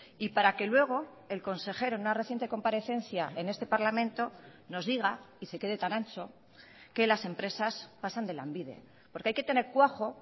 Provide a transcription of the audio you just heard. y para que luego el consejero en una reciente comparecencia en este parlamento nos diga y se quede tan ancho que las empresas pasan de lanbide porque hay que tener cuajo